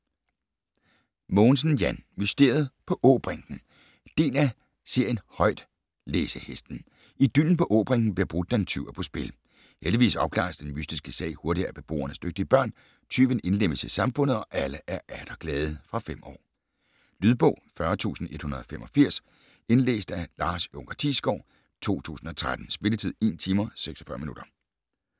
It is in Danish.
Mogensen, Jan: Mysteriet på Åbrinken Del af serien Højtlæsehesten. Idyllen på Åbrinken bliver brudt da en tyv er på spil. Heldigvis opklares den mystiske sag hurtigt af beboernes dygtige børn, tyven indlemmes i samfundet og alle er atter glade. Fra 5 år. Lydbog 40185 Indlæst af Lars Junker Thiesgaard, 2013. Spilletid: 1 timer, 46 minutter.